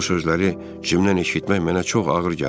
Bu sözləri Cimdən eşitmək mənə çox ağır gəlirdi.